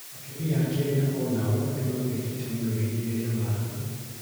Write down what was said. Atumia a Kenya o nao nĩ magunĩkĩte mũno ihenya-inĩ rĩa marathon.